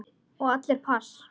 Og allir pass.